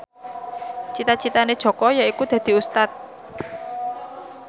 cita citane Jaka yaiku dadi Ustad